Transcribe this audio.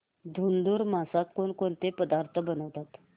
धुंधुर मासात कोणकोणते पदार्थ बनवतात